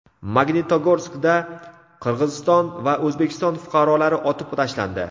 Magnitogorskda Qirg‘iziston va O‘zbekiston fuqarolari otib tashlandi.